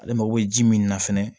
Ale mago bɛ ji min na fɛnɛ